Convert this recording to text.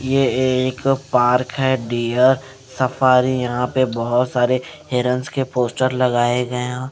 ये एक पार्क है डियर सफारी यहां पर बहोत सारे हिरंस के पोस्टर लगाए गए हैं।